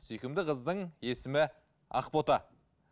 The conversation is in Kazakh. сүйкімді қыздың есімі ақбота